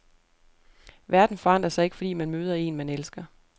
Verden forandrer sig ikke, fordi man møder en, man elsker.